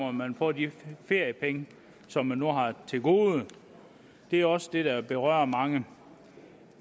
om man får de feriepenge som man nu har til gode det er også det der berører mange